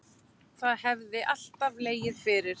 Það hefði alltaf legið fyrir